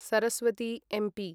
Saraswati MP